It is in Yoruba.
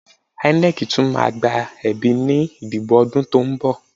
INEC tún máa gba ẹ̀bí ní ìdìbò ọdún tó ń bọ̀